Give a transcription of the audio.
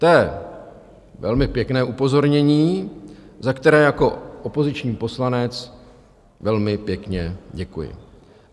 To je velmi pěkné upozornění, za které jako opoziční poslanec velmi pěkně děkuji.